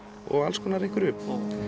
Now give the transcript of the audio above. og alls konar einhverju